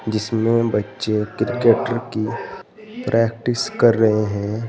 जिसमें बच्चे क्रिकेट की प्रैक्टिस कर रहे हैं।